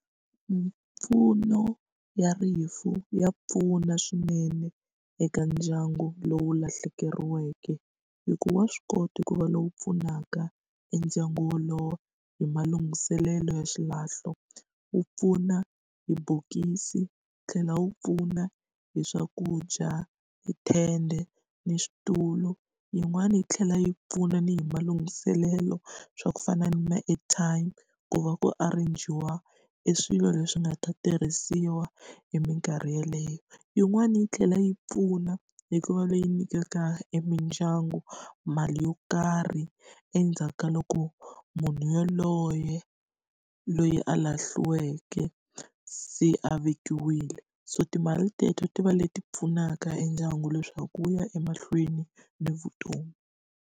Mimpfuno ya rifu ya pfuna swinene eka ndyangu lowu lahlekeriweke, hi ku wa swi kota ku va lowu pfunaka e ndyangu wolowo hi malunghiselelo ya xilahlo. Wu pfuna hi bokisi, wu tlhela wu pfuna hi swakudya, hi tende, na switulu. Yin'wani yi tlhela yi pfuna ni hi malunghiselelo swa ku fana na ma-airtime, ku va ku arrange-iwa e swilo leswi nga ta tirhisiwa hi minkarhi yeleyo. Yin'wani yi tlhela yi pfuna hi ku va leyi nyikaka e mindyangu mali yo karhi, endzhaku ka loko munhu yoloye loyi a lahlekeriweke se a vekiwile. So timali teto ti va leti pfunaka e ndyangu leswaku wu ya emahlweni ni vutomi.